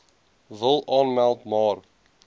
wil aanmeld maar